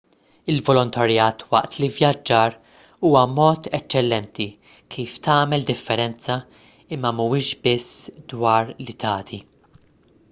il-volontarjat waqt l-ivvjaġġar huwa mod eċċellenti kif tagħmel differenza imma m'huwiex biss dwar li tagħti